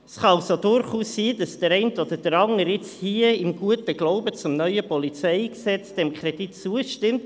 Es kann also durchaus sein, dass der eine oder andere jetzt hier im guten Glauben an das neue PolG diesem Kredit zustimmt.